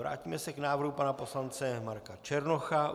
Vrátíme se k návrhu pana poslance Marka Černocha -